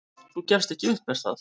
"""Þú gefst ekki upp, er það?"""